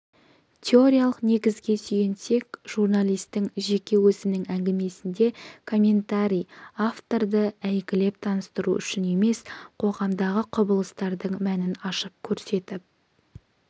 теориялық негізге сүйенсек журналистің жеке өзінің әңгімесінде комментарий авторды әйгілеп таныстыру үшін емес қоғамдағы құбылыстардың мәнін ашып көрсетіп